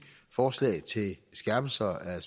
forslag til skærpelse af